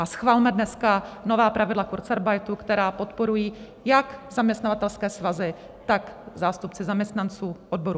A schvalme dneska nová pravidla kurzarbeitu, která podporují jak zaměstnavatelské svazy, tak zástupci zaměstnanců, odborů.